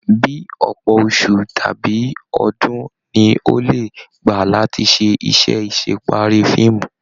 Bíí ọpọ oṣù tàbí ọdún ní o le gbá láti se isẹ́ asepari fíìmù.